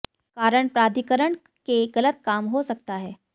कारण प्राधिकरण के गलत काम हो सकता है